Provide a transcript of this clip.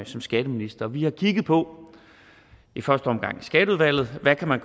som skatteminister vi har kigget på i første omgang i skatteudvalget hvad man